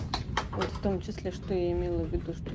вот в том числе что я имела в виду что